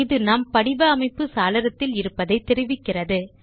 இது நாம் படிவ அமைப்பு சாளரத்தில் இருப்பதை தெரிவிக்கிறது